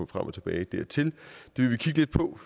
frem og tilbage dertil vi vil kigge lidt på